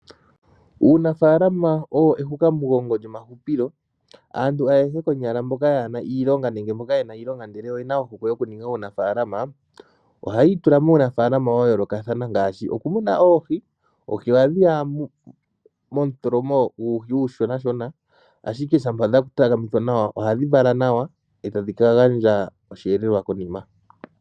Uunafaalama owo ehukamugongo lyomahupilo. Aantu ayehe konyala yaa na iilonga nenge ye na iilonga ihe oye na ohokwe yokuninga uunafaalama ohaya itula muunafaalama wa yoolokathana ngaashi okumuna oohi. Oohi ohadhi ya momutholomo guuhi uushoshona, ashike shampa dha takamithwa nawa ohadhi vala nawa e tadhi ka gandja osheelelwa konima.